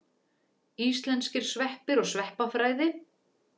Íslenskir sveppir og sveppafræði.